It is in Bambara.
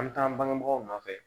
An bɛ taa an bangebaaw nɔfɛ